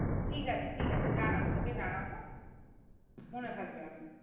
ঠিক আছে ঠিক আছে জানাবো তোকে জানাবো মনে থাকবে আমার